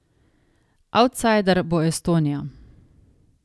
Avtsajder bo Estonija.